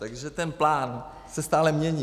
Takže ten plán se stále mění.